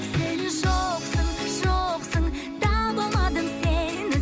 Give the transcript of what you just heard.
сен жоқсың жоқсың таба алмадым сені